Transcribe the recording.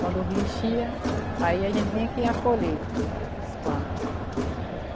Quando o rio enchia, aí a gente tinha que ir acolher as planta.